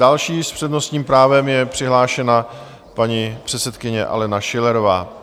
Další s přednostním právem je přihlášena paní předsedkyně Alena Schillerová.